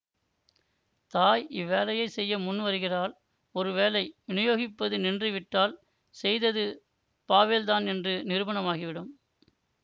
தாய் இவ்வேலையை செய்ய முன்வருகிறாள் ஒருவேளை விநியோகிப்பது நின்று விட்டால் செய்தது பாவெல்தான் என்று நிரூபணமாகிவிடும்